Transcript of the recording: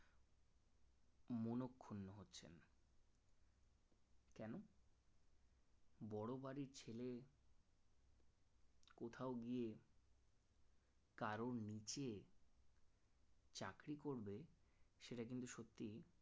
বড় বাড়ির ছেলে কোথাও গিয়ে কারোর নিচে চাকরি করবে সেটা কিন্তু সত্যিই